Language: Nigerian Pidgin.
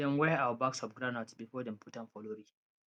dem weigh our bags of groundnut before dem put am for lorry